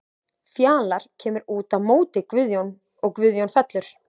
Fjalar kemur út á móti og Guðjón fellur.